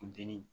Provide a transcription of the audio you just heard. Funteni